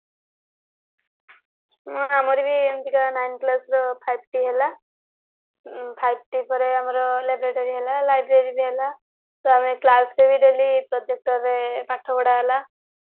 ହଁ ଆମରି ବି ଏମିତିକା five T ଆସିଥିଲା ନବମରେ five T ପରେ ଆମର laboratory ହେଲା library ବି ହେଲା ଆମର class ରେ ବି daily projector ରେ ପାଠ ପଢା ହେଲା